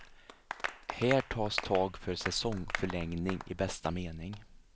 Här tas tag för säsongförlängning i bästa mening.